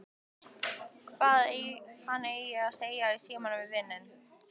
Hvað hann eigi að segja í símann við vininn.